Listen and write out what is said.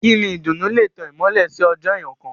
Ìkíni ìdùnnú lè tán ìmọ́lẹ̀ sí ọjọ́ èèyàn kán.